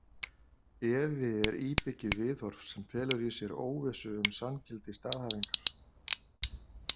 Efi er íbyggið viðhorf sem felur í sér óvissu um sanngildi staðhæfingar.